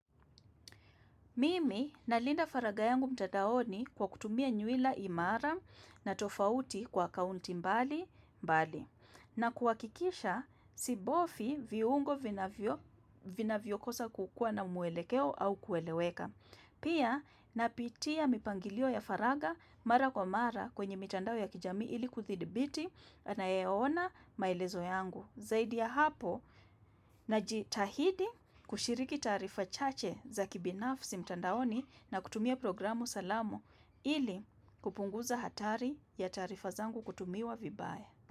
Mimi nalinda faragha yangu mtadaoni kwa kutumia nyuila imara na tofauti kwa akaunti mbali mbali. Na kuhakikisha, si bofi viungo vinavyo vinavyokosa kukua na muelekeo au kueleweka. Pia, napitia mipangilio ya faragha mara kwa mara kwenye mitandao ya kijami ili kuthibiti anayeona maelezo yangu. Zaidi ya hapo, na jitahidi kushiriki taarifa chache za kibinafsi mtandaoni na kutumia programu salama ili kupunguza hatari ya tarifa zangu kutumiwa vibaya.